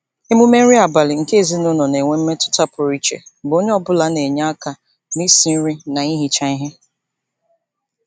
Emume nri abalị nke ezinụụlọ na-enwe mmetụta pụrụ iche mgbe onye ọbụla na-enye aka n'isi nri na ihicha ihe.